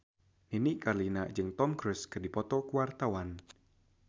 Nini Carlina jeung Tom Cruise keur dipoto ku wartawan